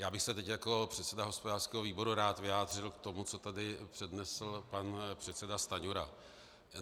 Já bych se teď jako předseda hospodářského výboru rád vyjádřil k tomu, co tady přednesl pan předseda Stanjura.